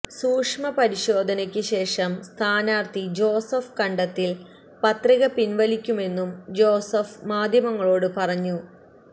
സൂക്ഷ്മ പരിശോധനക്ക് ശേഷം സ്ഥാനാർഥി ജോസഫ് കണ്ടത്തിൽ പത്രിക പിൻവലിക്കുമെന്നും ജോസഫ് മാധ്യമങ്ങളോട് പറഞ്ഞു